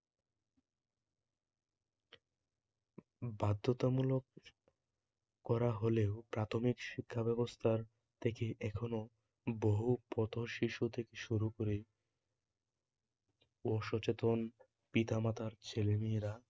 বাধ্যতামূলক করা হলেও প্রাথমিক শিক্ষা ব্যবস্থা থেকে এখনও বহু পথশিশু থেকে শুরু করে অসচেতন পিতামাতার ছেলেমেয়েরা